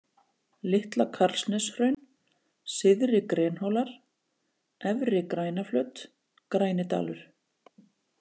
Litla-Karlsneshraun, Syðri-Grenhólar, Efri-Grænaflöt, Grænidalur